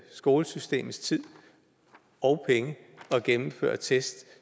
skolesystemets tid og penge at gennemføre test